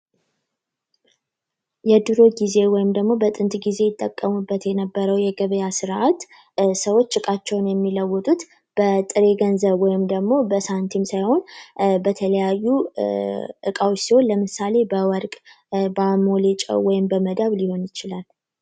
የድሮ ጊዜ ወይም ደግሞ በጥንት ጊዜ ይጠቀሙበት የነበረው የገበያ ርዓት ሰዎች እቃቸውን የሚለውጡት በጥሬ ገንዘብ ወይም ደግሞ በሳንቲም ሳይሆን በተለያዩ እቃዎች ሲሆን ለምሳሌ በወር በአሞሌ ሊሆን ይችላል